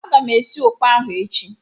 Aga m esi ụkpà ahụ echi.